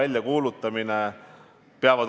Ma püüan nüüd vastata.